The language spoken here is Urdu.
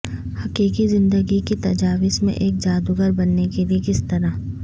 حقیقی زندگی کی تجاویز میں ایک جادوگر بننے کے لئے کس طرح